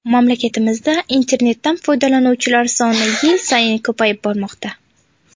Mamlakatimizda internetdan foydalanuvchilar soni yil sayin ko‘payib bormoqda.